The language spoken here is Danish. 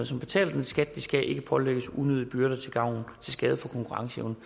som betaler den skat de skal ikke pålægges unødige byrder til skade for konkurrenceevnen